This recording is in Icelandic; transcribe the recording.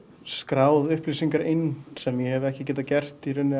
skráð upplýsingar inn sem ég hef ekki getað gert í rauninni